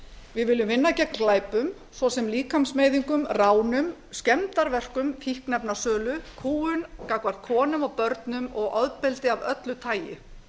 við viljum vinna gegn glæpum svo sem líkamsmeiðingum ránum skemmdarverkum fíkniefnasölu kúgun gagnvart konum og börnum og ofbeldi af öllu tagi